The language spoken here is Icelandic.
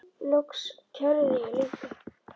Loks kærði ég líka.